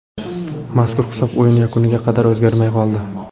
Mazkur hisob o‘yin yakuniga qadar o‘zgarmay qoldi.